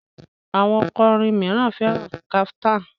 Àwọn okọrin míràn féràn kaftan.